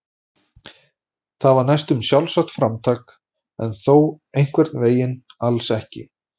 Það var næstum sjálfsagt framtak en þó einhvern veginn alls ekki.